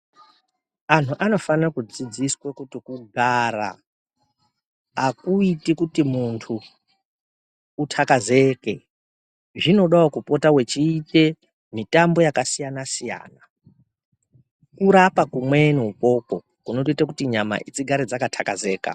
Anhu anofane kudzidziswa kuti kugara akuiti kuti muntu uthakazeke zvinodawo kupota wechiite mitambo yakasiyana siyana kurapa kumweni ukwokwo kunotoita kuti nyama dzigare dzakathakazeka.